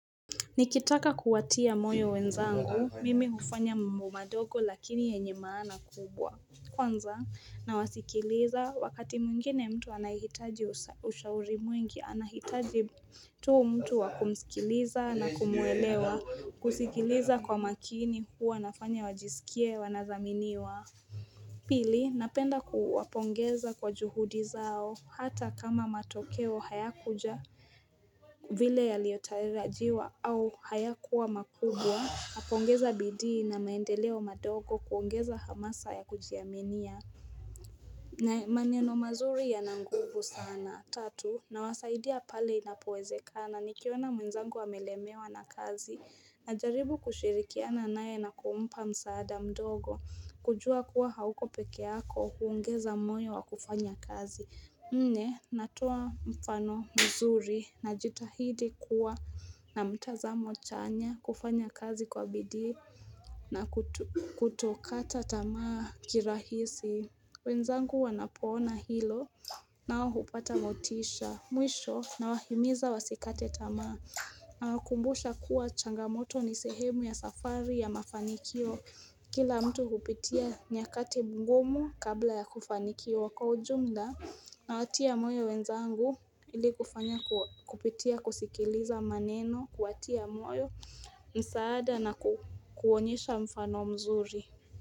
Nikitaka kuwatia moyo wenzangu, mimi hufanya mambo madogo lakini yenye maana kubwa, kwanza nawasikiliza wakati mwingine mtu anahitaji ushauri mwingi, anahitaji tu mtu wakumsikiliza na kumuelewa, kusikiliza kwa makini huwa nafanya wajisikie wanathaminiwa. Pili, napenda kuwapongeza kwa juhudi zao hata kama matokeo hayakuja vile yaliyotarajiwa au hayakuwa makubwa, napongeza bidii na maendeleo madogo kuongeza hamasa ya kujiaminia. Na maneno mazuri yana nguvu sana tatu nawasaidia pale inapowezekana nikiona mwenzangu amelemewa na kazi najaribu kushirikiana naye na kumpa msaada mdogo, kujua kuwa hauko peke yako kuungeza moyo wa kufanya kazi Mne natoa mfano mzuri najitahidi kuwa na mtazamo chanya, kufanya kazi kwa bidii na kutokata tamaa kirahisi wenzangu wanapoona hilo na hawakupata motisha, mwisho nawahimiza wasikate tamaa nawakumbusha kuwa changamoto ni sehemu ya safari ya mafanikio kila mtu kupitia nyakati ngumu kabla ya kufanikiwa kwa ujumla nawatia moyo wenzangu ili kufanya kupitia kusikiliza maneno, kuwatia moyo msaada na kuonyesha mfano mzuri.